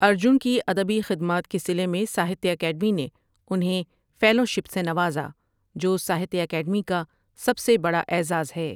ارجن کی ادبی خدمات کے صلے میں ساہتیہ اکیڈمی نے انہیں فیلوشپ سے نوازا جو ساہتیہ اکیڈمی کا سب بڑا اعزاز ہے ۔